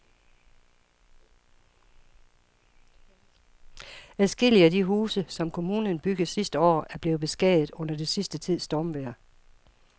Adskillige af de huse, som kommunen byggede sidste år, er blevet beskadiget under den sidste tids stormvejr.